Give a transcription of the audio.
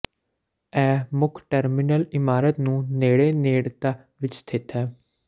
ਇਹ ਮੁੱਖ ਟਰਮੀਨਲ ਇਮਾਰਤ ਨੂੰ ਨੇੜੇ ਨੇੜਤਾ ਵਿੱਚ ਸਥਿਤ ਹੈ